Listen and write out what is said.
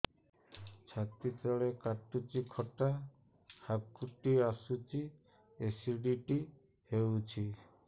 ଛାତି ତଳେ କାଟୁଚି ଖଟା ହାକୁଟି ଆସୁଚି ଏସିଡିଟି ହେଇଚି